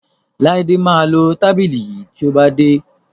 Laide má lọ tábìlì yí tíó bá dé.